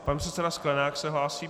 Pan předseda Sklenák se hlásí.